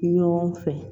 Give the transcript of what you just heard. Ɲɔgɔn fɛ